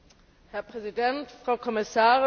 Herr Präsident, Frau Kommissarin!